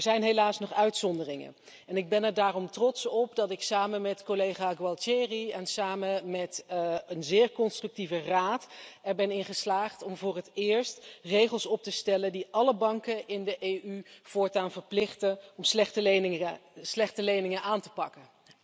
Maar er zijn helaas nog uitzonderingen en ik ben er daarom trots op dat ik samen met collega Gualtieri en samen met een zeer constructieve Raad erin ben geslaagd om voor het eerst regels op te stellen die alle banken in de EU voortaan verplichten om slechte leningen aan te pakken.